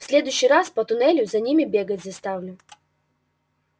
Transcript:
в следующий раз по туннелю за ними бегать заставлю